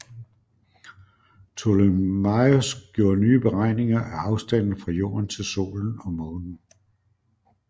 Ptolemaios gjorde nye beregninger af afstanden fra jorden til solen og månen